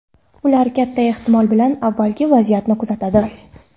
Ular katta ehtimol bilan avvaliga vaziyatni kuzatadi.